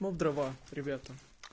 но в дрова ребята